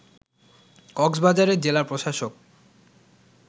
কক্সবাজারের জেলা প্রশাসক